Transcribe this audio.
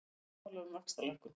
Sammála um vaxtalækkun